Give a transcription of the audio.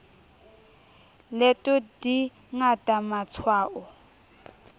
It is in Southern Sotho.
leto di ngata ma tshwao